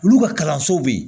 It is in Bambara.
Olu ka kalansow be yen